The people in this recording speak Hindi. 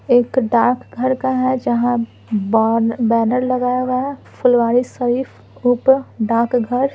एक डाक घर का है जहाँ ब बैनर लगाया हुआ हैं फुलवारी शरीफ ऊपर डाक घर।